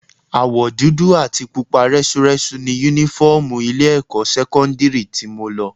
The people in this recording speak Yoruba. Àwọ̀ dúdú àti pupa rẹ́súrẹ́sú ni Únífọ́ọ̀mù ilé-ẹ̀kọ́ sẹ́kọ́ndírì tí mo lọ